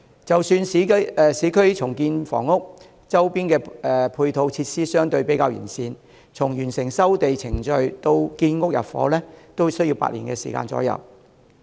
即使在市區重建房屋，周邊的配套設施相對較完備，由完成收地程序至建成入伙，也需時8年左右。